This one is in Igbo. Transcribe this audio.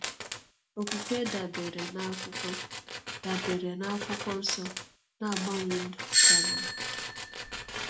Okwukwe dabeere na akwụkwọ dabeere na akwụkwọ nsọ na-agbanwe ndụ ka mma